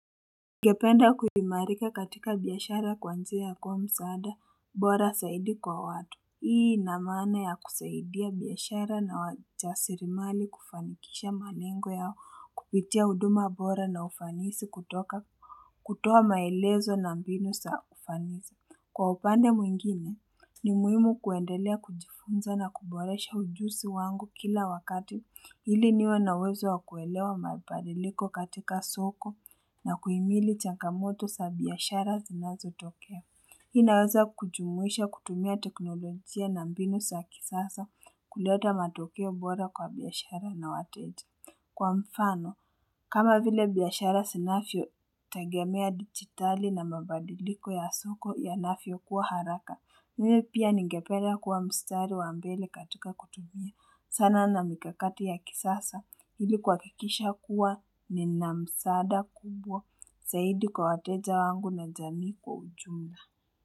Ningependa kuhimarika katika biashara kwanzia ya kwa msaada, bora saidi kwa watu. Hii na mana ya kusaidia biashara na wachasirimali kufanikisha manengo yao, kupitia huduma bora na ufanisi kutoka kutoa maelezo na mbinu saa kufanisi. Kwa upande mwingine, ni muhimu kuendelea kujifunza na kuboresha ujusi wangu kila wakati ili niwa nawezo wakuelewa maibadiliko katika soko na kuimili chanka moto sa biyashara zinazo tokea. Inaweza kujumuisha kutumia teknolojia na mbinu za kisasa kuleta matokeo bora kwa biashara na wateti. Kwa mfano, kama vile biashara sinavyo tagemea digitali na mabadiliko ya soko ya navyo kuwa haraka, mimi pia ningepelea kuwa mstari wa mbele katika kutumia sana na mikakati ya kisasa hili kuhakikisha kuwa ni namsada kubwa, zaidi kwa wateja wangu na jamii kwa ujumba.